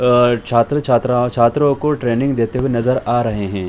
अ छात्र-छात्रा छात्रों को ट्रेनिंग देते नजर आ रहे है।